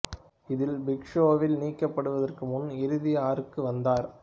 இதில் பிக் ஷோவில் நீக்கப்படுவதற்கு முன்பு இறுதி ஆறுக்கு வந்தார்